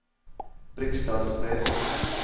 Briksdalsbre